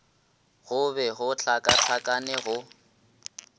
go be go hlakahlakane go